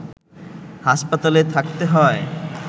হাসপাতালে থাকতে হয়